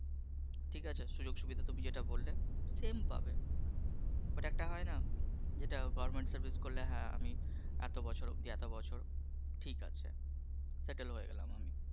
ঠিক আছে সুযোগ সুবিধা তুমি যেটা বললে same পাবে। কিন্তু একটা হয় না যেটা governmet করলে আমি এত বছর অবধি এত বছর ঠিক আছে, sattle হয়ে গেলাম আমি